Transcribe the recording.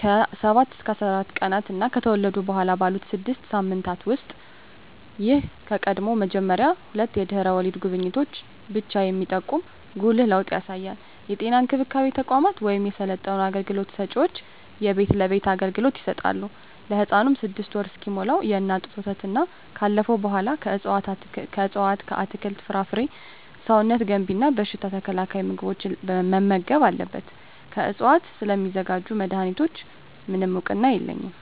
ከ7-14 ቀናት እና ከተወለዱ በኋላ ባሉት 6 ሳምንታት ውስጥ። ይህ ከቀድሞው መመሪያ ሁለት የድህረ ወሊድ ጉብኝቶችን ብቻ የሚጠቁም ጉልህ ለውጥ ያሳያል። የጤና እንክብካቤ ተቋማት ወይም የሰለጠኑ አገልግሎት ሰጭዎች የቤት ለቤት አገልግሎት ይሰጣሉ። ለህፃኑም 6ወር እስኪሞላው የእናት ጡት ወተትና ካለፈው በኃላ ከእፅዋት አትክልት፣ ፍራፍሬ ሰውነት ገንቢ እና በሽታ ተከላካይ ምግቦችን መመገብ አለብን። ከዕፅዋት ስለሚዘጋጁ መድኃኒቶች፣ ምንም እውቅና የለኝም።